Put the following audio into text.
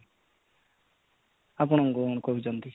ଆପଣ କ'ଣ କହୁଛନ୍ତି?